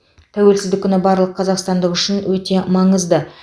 тәуелсіздік күні барлық қазақстандық үшін өте маңызды